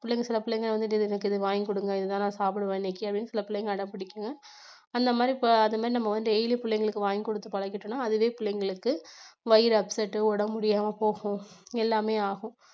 பிள்ளைங்க சில பிள்ளைங்க வந்துட்டு எனக்கு இது வாங்கி கொடுங்க இதுதான் நான் சாப்பிடுவேன் இன்னைக்கு அப்படின்னு சில பிள்ளைங்க அடம் பிடிக்குங்க அந்த மாதிரி இப்ப அந்த மாதிரி நம்ம வந்து daily பிள்ளைங்களுக்கு வாங்கி கொடுத்து பழகிட்டோம்னா அதுவே பிள்ளைங்களுக்கு வயிறு upset உ உடம்பு முடியாமப்போகும், எல்லாமே ஆகும்.